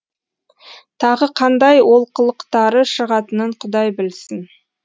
тағы қандай олқылықтары шығатынын құдай білсін